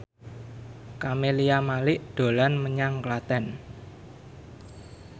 Camelia Malik dolan menyang Klaten